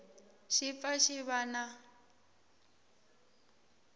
xi pfa xi va na